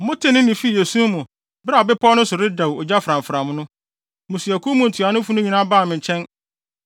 Motee nne no fii esum mu bere a bepɔw no so redɛw ogya framfram no, mmusuakuw mu ntuanofo no nyinaa baa me nkyɛn.